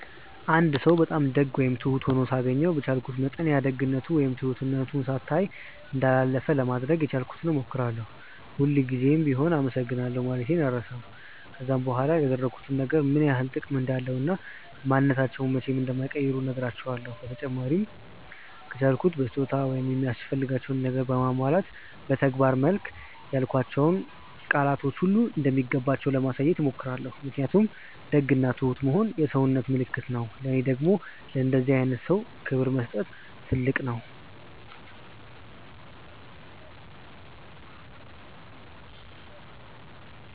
አንድ ሰው በጣም ደግ ወይም ትሁት ሆኖ ሳገኘው በቻልኩት መጠን ያ ደግነቱ ወይም ትሁትነቱ ሳይታይ እንዳላለፈ ለማድረግ የቻልኩትን ሞክራለው፤ ሁል ጉዘም ቢሆም አመሰግናለሁ ማለቴን አልረሳም፤ ከዛም በኋላ ያደረጉት ነገር ምን ያክል ጥቅም እንዳለው እና ማንንነታቸውን መቼም እንዳይቀይሩ ነህራቸውለው፤ በተጨማሪም ከቻልኩ በስጦታ ወይም የሚያስፈልጋቸውን ነገር በማሟላት በተግባር መልክ ያልኳቸው ቃላቶች ሁሉ እንደሚገባቸው ለማሳየት ሞክራለው ምክንያቱም ደግ እና ትሁት መሆን የሰውነት ምልክት ነው ለኔ ደግም ለእንደዚህ አይነት ሰው ክብር መስጠት ትልቅ ነገር ነው።